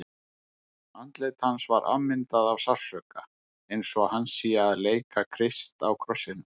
Andlit hans er afmyndað af sársauka, eins og hann sé að leika Krist á krossinum.